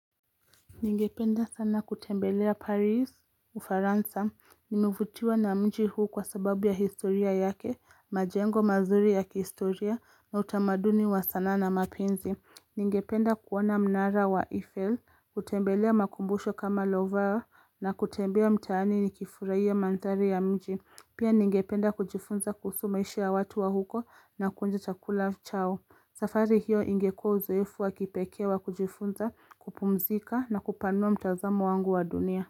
Ningependa sana kutembelea Paris, Ufaransa, nimevutiwa na mji huu kwa sababu ya historia yake, majengo mazuri ya kihistoria, na utamaduni wa sanaa na mapenzi. Ningependa kuoana mnara wa Eiffel, kutembelea makumbusho kama Lovar, na kutembea mtaani ni kifurahia mandhari ya mji. Pia ningependa kujifunza kuhusu maisha ya watu wa huko na kuonja chakula chao. Safari hiyo ingekuwa uzoefu wa kipekee wa kujifunza kupumzika na kupanua mtazamo wangu wa dunia.